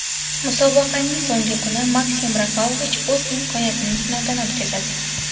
Musobaqaning so‘nggi kuni Maksim Rafalovich o‘z imkoniyatini sinovdan o‘tkazadi.